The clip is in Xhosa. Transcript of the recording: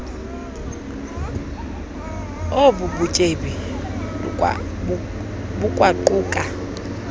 onu butyebi lukwaquka